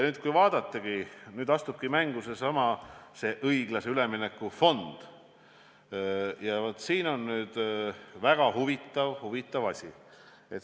Nüüd astubki mängu seesama õiglase ülemineku fond ja siin tuleb esile üks väga huvitav asi.